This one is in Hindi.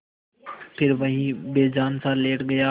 फिर वहीं बेजानसा लेट गया